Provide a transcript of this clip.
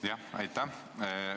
Jah, aitäh!